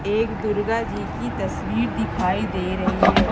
एक दुर्गा जी की तस्वीर दिखाई दे रही हैं।